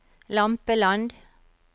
Lampeland